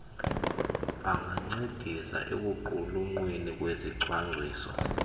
bangancedisa ekuqulunqweni kwesicwangciso